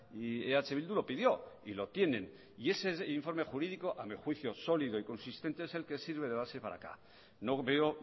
y eh bildu lo pidió y lo tienen y ese informe jurídico a mi juicio sólido y consistente es el que sirve de base para